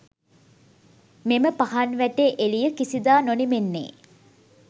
මෙම පහන් වැටේ එළිය කිසිදා නොනිමෙන්නේ